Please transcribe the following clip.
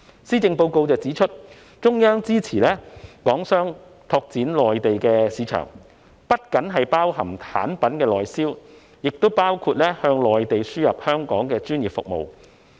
施政報告指出，中央支持港商拓展內地市場，這不僅是指產品的內銷，亦包括向內地輸出香港的專業服務。